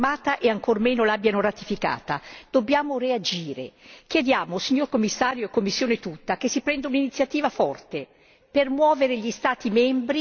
Chiediamo, signor Commissario e Commissione tutta, che si prenda un'iniziativa forte, per muovere gli Stati membri con tutta la capacità di indirizzo e di influenza che la Commissione ha.